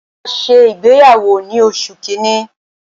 A ṣe ìgbéyàwó ni oṣù kínní.